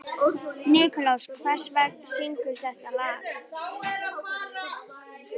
Nikulás, hver syngur þetta lag?